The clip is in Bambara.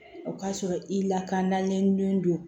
O k'a sɔrɔ i lakananen don